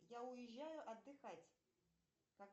я уезжаю отдыхать